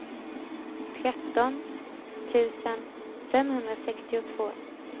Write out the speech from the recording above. tretton tusen femhundrasextiotvå